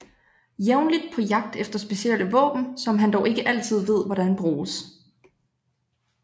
Jævnligt på jagt efter specielle våben som han dog ikke altid ved hvordan bruges